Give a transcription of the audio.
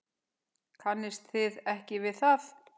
Kannist þið ekki við það?